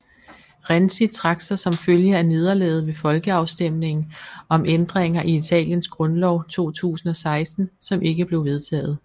Renzi trak sig som følge af nederlaget ved folkeafstemningen om ændringer i Italiens grundlov 2016 som ikke blev vedtaget